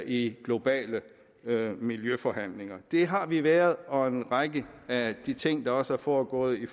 i globale miljøforhandlinger det har vi været og en række af de ting der også er foregået i